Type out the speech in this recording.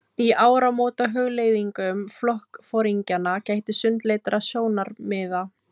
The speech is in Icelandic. Í áramótahugleiðingum flokksforingjanna gætti sundurleitra sjónarmiða.